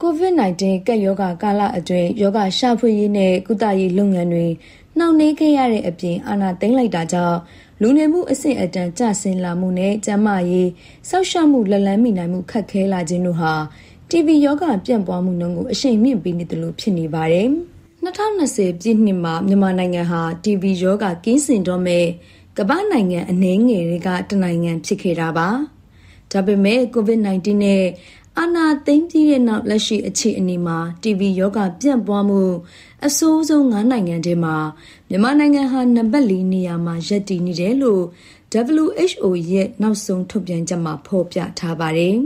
COVID-19 ကပ်ရောဂါကာလအတွင်း ရောဂါရှာဖွေရေးနှင့် ကုသရေးလုပ်ငန်းတွေ နှောင့်နှေးခဲ့ရတဲ့အပြင်၊ အာဏာသိမ်းလိုက်တာကြောင့် လူနေမှုအဆင့်အတန်းကျဆင်းလာမှုနှင့် ကျန်းမာရေးစောင့်ရှောက်မှုလက်လှမ်းမီနိုင်မှု ခက်ခဲလာခြင်းတို့ဟာ တီဘီရောဂါပြန့်ပွားမှုကို အရှိန်မြှင့်ပေးနေသလို ဖြစ်နေပါတယ်။ ၂၀၂၀ ပြည့်နှစ်မှာ မြန်မာနိုင်ငံဟာ တီဘီရောဂါကင်းစင်တော့မယ့် ကမ္ဘာ့နိုင်ငံအနည်းငယ်ထဲက ၁ နိုင်ငံဖြစ်ခဲ့တာပါ။ ဒါပေမယ့် ကိုဗစ် 19 နဲ့ အာဏာသိမ်းပြီးနောက် လက်ရှိအခြေအနေမှာ “တီဘီရောဂါပြန့်ပွားမှု အဆိုးဆုံး ၅ နိုင်ငံထဲမှာ မြန်မာနိုင်ငံဟာ နံပါတ် ၄ နေရာမှာ ရပ်တည်နေတယ်” လို့ WHO ရဲ့ နောက်ဆုံးထုတ်ပြန်ချက်မှာ ဖော်ပြထားပါတယ်